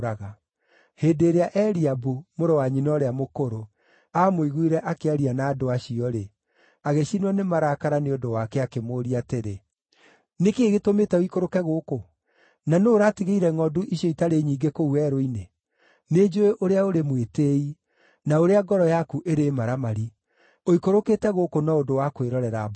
Hĩndĩ ĩrĩa Eliabu, mũrũ wa nyina ũrĩa mũkũrũ, aamũiguire akĩaria na andũ acio-rĩ, agĩcinwo nĩ marakara nĩ ũndũ wake, akĩmũũria atĩrĩ, “Nĩ kĩĩ gĩtũmĩte ũikũrũke gũkũ? Na nũũ ũratigĩire ngʼondu icio itarĩ nyingĩ kũu werũ-inĩ? Nĩnjũũĩ ũrĩa ũrĩ mwĩtĩĩi, na ũrĩa ngoro yaku ĩrĩ maramari; ũikũrũkĩte gũkũ no ũndũ wa kwĩrorera mbaara.”